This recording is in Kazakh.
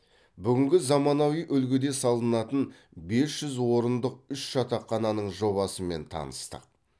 бүгінгі заманауи үлгіде салынатын бес жүз орындық үш жатақхананың жобасымен таныстық